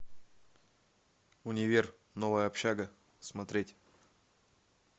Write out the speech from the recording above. универ новая общага смотреть